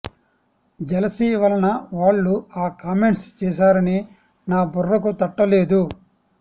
jealousy వలన వాళ్ళు ఆ కామెంట్స్ చేసారని నా బుర్రకు తట్టలేదు